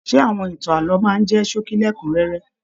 Ṣe awọn ìtàn ààlọ́ máa n jẹ ṣókí lẹkunrẹrẹ?